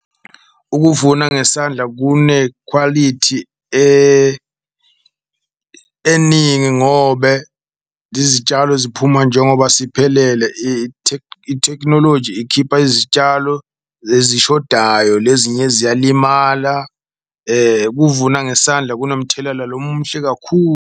Ukuvuna ngesandla kune quality eningi ngobe izitshalo ziphuma njengoba siphelele. Itec ithekhinoloji ikhipa izitshalo ezishodayo lezinye ziyalimala kuvunwa ngesandla kunomthelela lo muhle kakhulu.